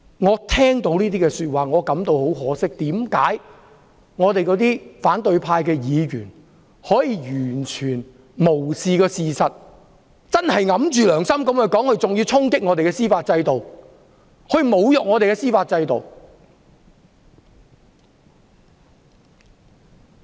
我聽到這說法後感到很可惜，為何反對派議員可以完全無視事實，昧着良心說話，還要衝擊我們的司法制度，侮辱我們的司法制度？